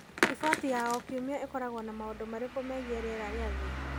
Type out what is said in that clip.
Riboti ya o kiumia ĩkoragwo na maũndũ marĩkũ megiĩ rĩera rĩa thĩ?